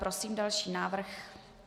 Prosím další návrh.